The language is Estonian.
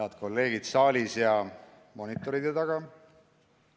Head kolleegid saalis ja monitoride taga!